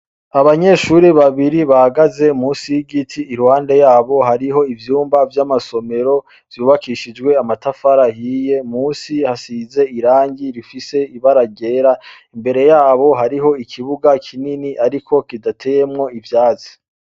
Abanyeshuri babiri bagaze musi y'igiti irwande yabo hariho ivyumba vy'amasomero vyubakishijwe amatafara hiye musi hasize irangi rifise ibaragera imbere yabo hariho ikibuga kinini, ariko kidateyemwo ivyazi.